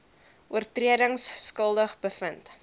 oortredings skuldig bevind